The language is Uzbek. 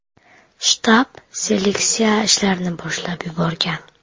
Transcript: Shtab seleksiya ishlarini boshlab yuborgan.